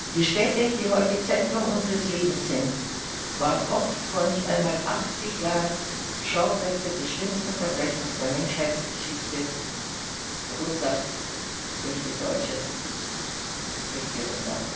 Die Städte, die heute Zentrum unseres Lebens sind, waren oft vor nicht einmal 80 Jahren Schauplätze des schlimmsten Verbrechens der Menschheitsgeschichte, verursacht durch die damalige deutsche Regierung.